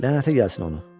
Lənətə gəlsin onu.